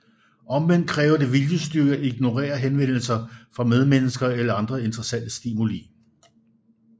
Omvendt kræver det viljestyrke at ignorere henvendelser fra medmennesker eller andre interessante stimuli